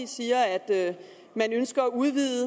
sige at man ønsker at udvide